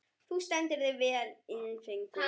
Þú stendur þig vel, Ingileifur!